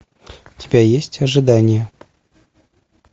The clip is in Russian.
у тебя есть ожидание